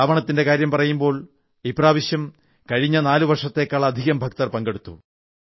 ശ്രാവണത്തിന്റെ കാര്യം പറയുമ്പോൾ ഇപ്രാവശ്യം അമർനാഥ് യാത്രയിൽ കഴിഞ്ഞ 4 വർഷത്തേക്കാളധികം ഭക്തർ പങ്കെടുത്തു